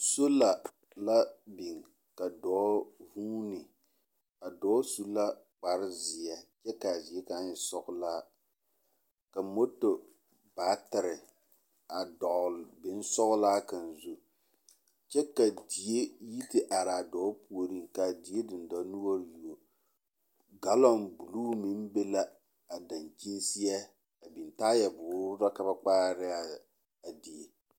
Sola la biŋ ka dɔɔ vuuni. A dɔɔ su la kparezeɛ kyɛ kaa zie kaŋ e sɔgelaa. Ka moto baatere a dɔgele bonsɔgelaa kaŋa zu kyɛ ka die yi te araa dɔɔ puoriŋ kaa die dendɔnoɔre you galɔŋ buluu meŋ be la a dankyin seɛ a biŋ taayɛboore la ka ba kpaare ne a die.